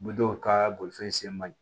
U bɛ dɔw ka bolifɛn sen man ɲi